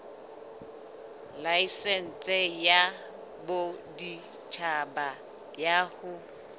laesense ya boditjhaba ya ho